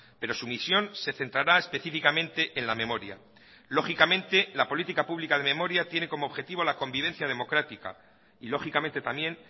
pero su misión se centrará específicamente en la memoria lógicamente la política pública de memoria tiene como objetivo la convivencia democrática y lógicamente también